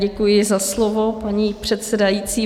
Děkuji za slovo, paní předsedající.